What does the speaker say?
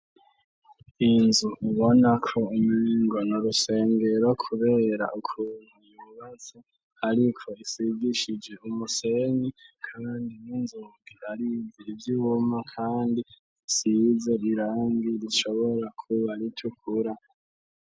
Inzu ubonako umingono rusengero, kubera ukuntu ibubaza, ariko isigishije umusenyi, kandi ninzogira ariiizir ivyuma, kandi siza rirangi ricobora kuba ritukura.